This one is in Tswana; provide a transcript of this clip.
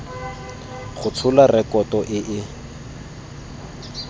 go tshola rekoto e e